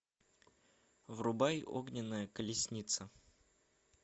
врубай огненная колесница